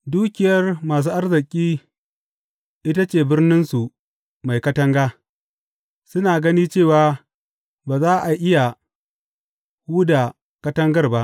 Dukiyar masu arziki ita ce birninsu mai katanga; suna gani cewa ba za a iya huda katangar ba.